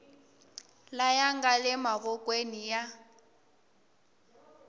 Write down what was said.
laya nga le mavokweni ya